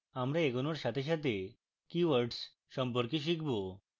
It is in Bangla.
আমরা এগোনোর সাথে সাথে keywords সম্পর্কে শিখব